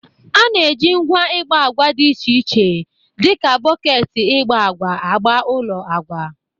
A na-eji ngwa igba agwa dị iche iche dịka bọketi igba agwa agba ụlọ agwa